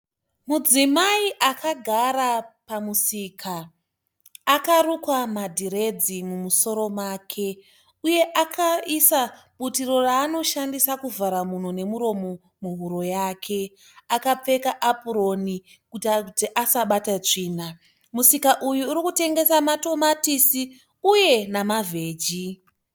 Mudzimai akagara pamusika. Akarukwa madhiredzi mumusoro make uye akaisa butiro raanoshandisa kuvhara mhuno nomuromo muhuro yake. Akapfeka apuroni kuitira kuti asabata tsvina. Musika uyu uri kutengesa matomatisi uye namaveji.